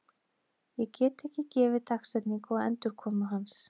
Ég get ekki gefið dagsetningu á endurkomu hans.